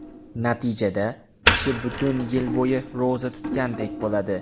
Natijada, kishi butun yil bo‘yi ro‘za tutgandek bo‘ladi.